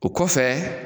O kɔfɛ